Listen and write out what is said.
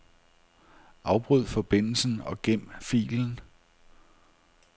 Afbryd forbindelsen og gem filen.